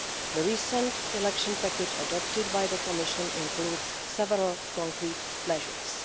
The recent election package adopted by the Commission includes several concrete measures.